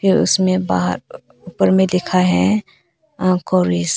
उसमें बाहर ऊपर में लिखा है।